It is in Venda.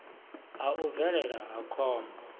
ha u bvelela ha khombo